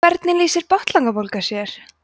hvernig lýsir botnlangabólga sér